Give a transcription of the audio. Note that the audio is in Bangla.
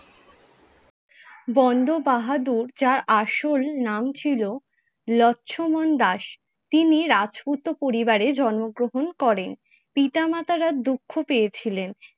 বন্দ বাহাদুর যার আসল নাম ছিল লক্ষ্মণ দাস। তিনি রাজপূত পরিবারে জন্মগ্রহণ করেন। পিতামাতারা দুঃখ পেয়েছিলেন